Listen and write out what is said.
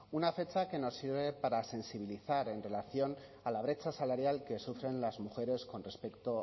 una fecha que nos sirve para sensibilizar en relación a la brecha salarial que sufren las mujeres con respecto